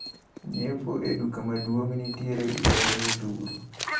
Nyiepo e duka maduong` nitiere gi ber modhuro.